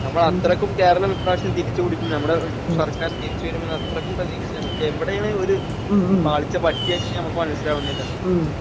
നമ്മളത്രയ്ക്കും കേരളം ഇപ്രാവശ്യം തിരിച്ചുപിടിക്കും ഞമ്മടെ സർക്കാർ തിരിച്ചുവരുമെന്ന് അത്രയ്ക്കും പ്രതീക്ഷ നമ്മൾക്ക് എവിടെയാണ് ഒര് പാളിച്ച പറ്റിയേന്ന് ഞമ്മക്ക് മനസ്സിലാവുന്നില്ല.